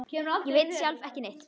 Ég veit sjálf ekki neitt.